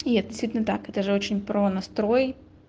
и это действительно так это же очень про настрой